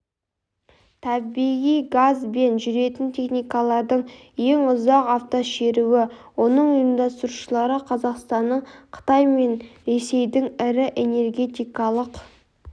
табиғи газбен жүретін техникалардың ең ұзақ автошеруі оның ұйымдастырушылары қазақстанның қытай мен ресейдің ірі энергетикалық